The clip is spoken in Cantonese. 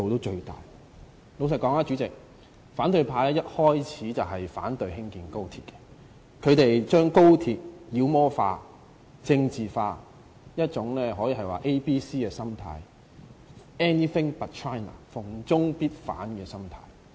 老實說，主席，反對派一開始已反對興建高鐵，他們把高鐵妖魔化和政治化，可說是有一種 ABC—— 逢中必反的心態。